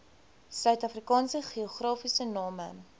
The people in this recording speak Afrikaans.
suidafrikaanse geografiese name